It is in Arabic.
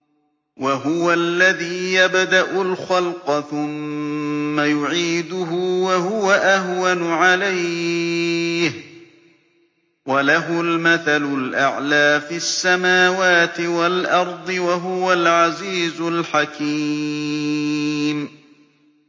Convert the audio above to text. وَهُوَ الَّذِي يَبْدَأُ الْخَلْقَ ثُمَّ يُعِيدُهُ وَهُوَ أَهْوَنُ عَلَيْهِ ۚ وَلَهُ الْمَثَلُ الْأَعْلَىٰ فِي السَّمَاوَاتِ وَالْأَرْضِ ۚ وَهُوَ الْعَزِيزُ الْحَكِيمُ